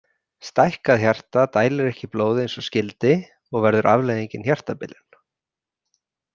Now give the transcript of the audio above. Stækkað hjarta dælir ekki blóði eins og skyldi og verður afleiðingin hjartabilun.